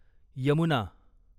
Yamuna